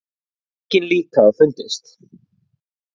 Engin lík hafa fundist